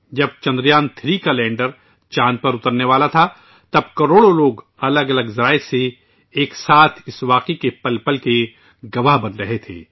جب چندریان 3 چاند پر اترنے والا تھا تو کروڑوں لوگ مختلف ذرائع سے ایک ساتھ اس لمحے کے گواہ بن رہے تھے